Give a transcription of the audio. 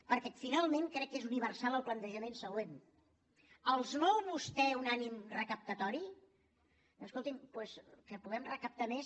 perquè finalment crec que és universal el plantejament següent els mou a vostès un ànim recaptatori doncs escolti’m que puguem recaptar més